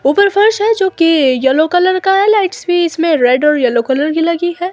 ऊपर फर्श है जो कि येलो कलर का है लाइट्स भी इसमें रेड और येलो कलर की लगी है।